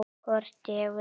Hvort ég vil!